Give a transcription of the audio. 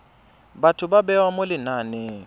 batho ba bewa mo lenaneng